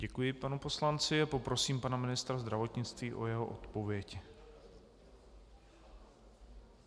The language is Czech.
Děkuji panu poslanci a poprosím pana ministra zdravotnictví o jeho odpověď.